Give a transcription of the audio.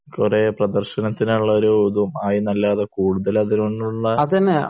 കുറെ പ്രദർശനത്തിനും ഉള്ള ഒരു ഇതും ആയി എന്നല്ലാതെ ഇവിടെ കൂടുതൽ